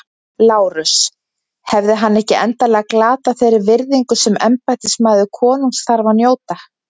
LÁRUS: Hefði hann ekki endanlega glatað þeirri virðingu sem embættismaður konungs þarf að njóta?